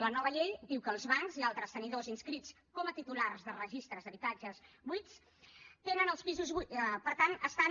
la nova llei diu que els bancs i altres tenidors inscrits com a titulars de registres d’habitatges buits tenen els pisos buits per tant